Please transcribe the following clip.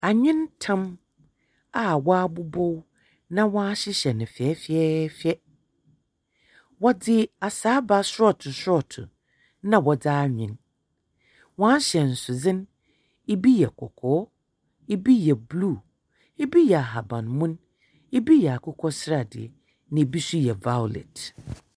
Awentam a wɔabobow na wɔahyehyɛ no fɛfɛɛfɛ. Wɔdze asaaba sɔɔto sɔɔto na wɔdze anwen. Wɔahyɛnsodze no, ibi yɛ kɔkɔɔ, ibi yɛ blue, ibi yɛ ahabanmon. Ibi yɛ akokɔ sradeɛ na ibi nso yɛ vawlɛt.